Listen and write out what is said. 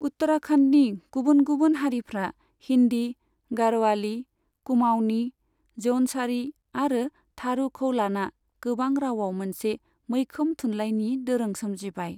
उत्तराखन्डनि गुबुन गुबुन हारिफ्रा हिन्दी, गढ़वाली, कुमाऊनी, जौनसारी आरो थारूखौ लाना गोबां रावआव मोनसे मैखोम थुनलाइनि दोरों सोमजिबाय।